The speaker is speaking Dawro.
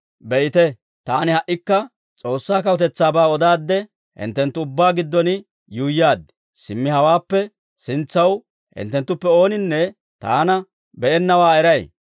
«Be'ite; taani ha"ikka S'oossaa kawutetsaabaa odaadde, hinttenttu ubbaa giddon yuuyyaad; simmi hawaappe sintsaw hinttenttuppe ooninne taana be'ennawaa eray.